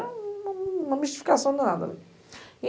Era uma uma mistificação